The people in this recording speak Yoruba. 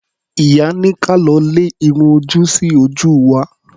Ìyá ní ka lọ lẹ irun ojú sí ojú wa.